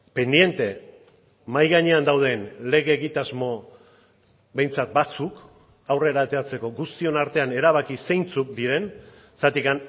pendiente mahai gainean dauden lege egitasmo behintzat batzuk aurrera ateratzeko guztion artean erabaki zeintzuk diren zergatik